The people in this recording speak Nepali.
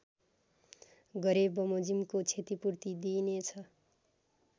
गरेबमोजिमको क्षतिपूर्ति दिइनेछ